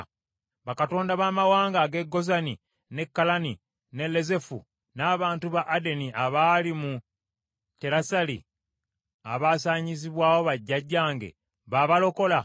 Bakatonda baamawanga ag’e Gozani, n’e Kalani, n’e Lezefu, n’abantu ba Adeni abaali mu Terasali, abasaanyizibwawo bajjajjange, babalokola?